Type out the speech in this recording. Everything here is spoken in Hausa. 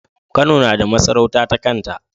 Kano nada masarauta ta kanta